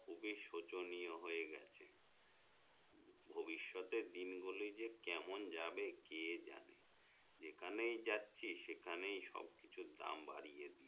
খুবই শোচনীয় হয়ে গেছে ভভিষ্যৎের দিন গুলি যে কেমন যাবে কে জানে যেখানেই যাচ্ছি সেখানেই সবকিছুর দাম বাড়িয়ে দিচ্ছে